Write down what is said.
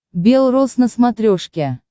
бел роз на смотрешке